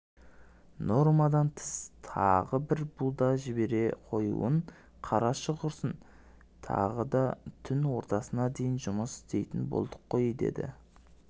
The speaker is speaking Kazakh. нормадан тыс тағы бір буда жібере қоюын қарашы құрсын тағы да түн ортасына дейін жұмыс істейтін болдық қой деді